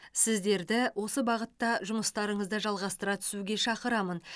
сіздерді осы бағытта жұмыстарыңызды жалғастыра түсуге шақырамын